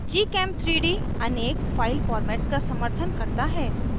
gchem3d अनेक file formats का समर्थन करता है